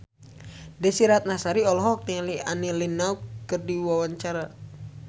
Desy Ratnasari olohok ningali Annie Lenox keur diwawancara